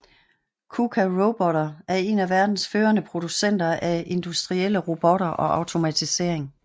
Kuka Roboter er en af verdens førende producenter af industrielle robotter og automatisering